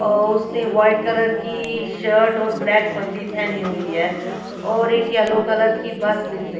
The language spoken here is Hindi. और उसने व्हाईट कलर की ई शर्ट और ब्लैक पगड़ी पहनी हुई है और एक यलो कलर की बस दिख रही--